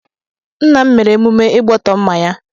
Nna m mere emume Igbọtọmma ya.